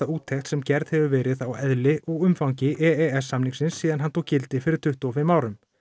úttekt sem gerð hefur verið á eðli og umfangi e s samningsins síðan hann tók gildi fyrir tuttugu og fimm árum